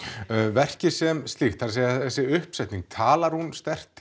verkið sem slíkt þessi uppsetning talar hún sterkt